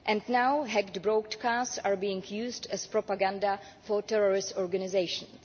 And now hacked broadcasts are being used as propaganda for terrorist organisations.